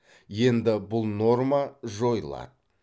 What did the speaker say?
енді бұл норма жойылады